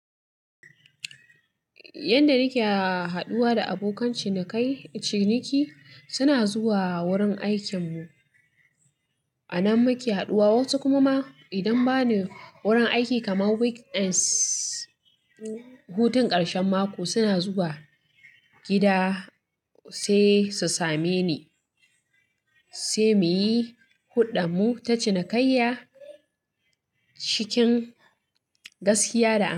Yanda nake haɗuwa da abokan ciniki, suna zuwa wurin aikinmu, a nan muke haɗuwa. Wasu kuma idan ba ne wurin aiki kamar weekends, hutun ƙarshen mako suna zuwa gida sai su same ni, sai muyi huɗanmu ta cinikayya cikin gaskiya da.